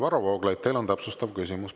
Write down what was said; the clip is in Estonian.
Varro Vooglaid, teil on täpsustav küsimus.